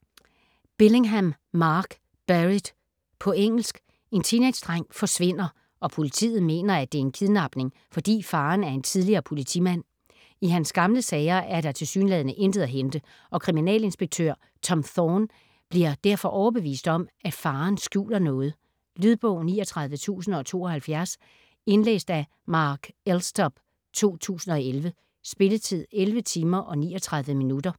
Billingham, Mark: Buried På engelsk. En teenagedreng forsvinder, og politiet mener, at det er en kidnapning, fordi faderen er en tidligere politimand. I hans gamle sager er der tilsyneladende intet at hente, og kriminalinspektør Tom Thorne bliver derfor overbevist om, at faderen skjuler noget. Lydbog 39072 Indlæst af Mark Elstob, 2011. Spilletid: 11 timer, 39 minutter.